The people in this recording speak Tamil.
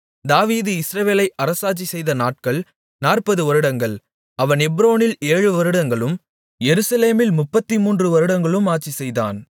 தாவீது இஸ்ரவேலை அரசாட்சி செய்த நாட்கள் 40 வருடங்கள் அவன் எப்ரோனில் 7 வருடங்களும் எருசலேமில் 33 வருடங்களும் ஆட்சிசெய்தான்